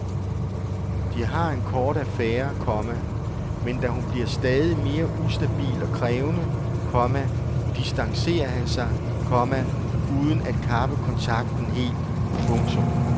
De har en kort affære, komma men da hun bliver stadig mere ustabil og krævende, komma distancerer han sig, komma uden at kappe kontakten helt. punktum